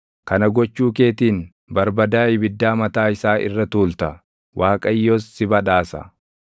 Kana gochuu keetiin barbadaa ibiddaa mataa isaa irra tuulta; Waaqayyos si badhaasa.